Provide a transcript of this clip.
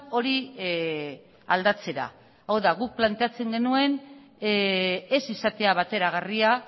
hori aldatzera hau da guk planteatzen genuen ez izatea bateragarria